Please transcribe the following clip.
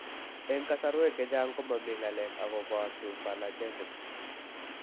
Eng' kasarwek chechang' ko mami ng'alek akopo Symphalagism